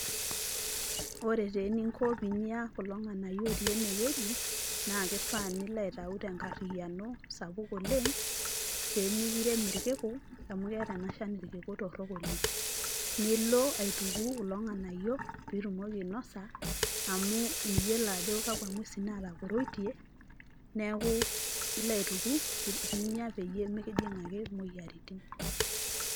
Ore taa eninko pinya kulo ng,anayio otii ene wueji naa [cs kifaa nilo aitayu tenkariano sapuk oleng' pemikirem irkiku amu keeta ena shani irkiku torok oleng' . Nilo aituku kulo ng'anayio pitumoki ainosa amu miyiolo ajo kakwa ng'wesin nataporoitie , neeku ilo aituku pinya pemikijing' ake imoyiaritin .